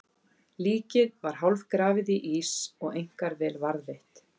Líkið var hálfgrafið í ís og einkar vel varðveitt.